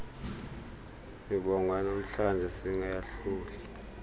mibongo yanamhlanje singayahluli